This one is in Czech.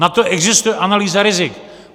Na to existuje analýza rizik.